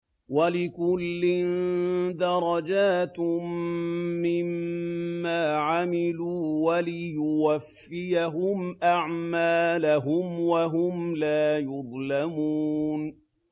وَلِكُلٍّ دَرَجَاتٌ مِّمَّا عَمِلُوا ۖ وَلِيُوَفِّيَهُمْ أَعْمَالَهُمْ وَهُمْ لَا يُظْلَمُونَ